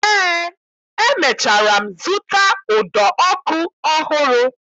Eé, emechara m zụta ụdọ ọkụ ọhụrụ